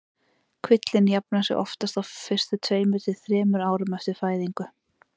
Kvillinn jafnar sig oftast á fyrstu tveimur til þremur árum eftir fæðingu.